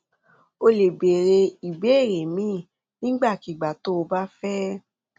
o lè béèrè ìbéèrè míì nígbàkigbà tó o bá fẹ